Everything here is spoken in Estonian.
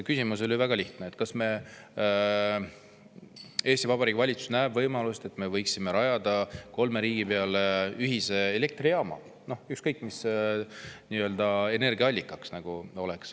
Küsimus oli väga lihtne: kas Eesti Vabariigi valitsus näeb võimalust, et me võiksime rajada kolme riigi peale ühise elektrijaama, ükskõik mis oleks energiaallikaks?